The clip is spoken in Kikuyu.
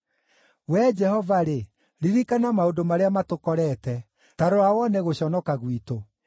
Wee Jehova-rĩ, ririkana maũndũ marĩa matũkorete; ta rora wone gũconoka gwitũ.